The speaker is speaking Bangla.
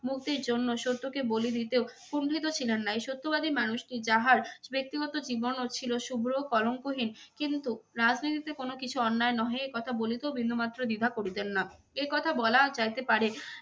মুক্তির জন্য সত্যকে বলি দিতেও কুণ্ঠিত ছিলেন না এই সত্যবাদী মানুষটি যাহার ব্যক্তিগত জীবনও ছিল শুভ্র ও কলঙ্কহীন কিন্তু রাজনীতিতে কোনো কিছুই অন্যায় নহে এ কথা বলিতেও বিন্দুমাত্র দ্বিধা করেছেন না। এ কথা বলা যাইতে পারে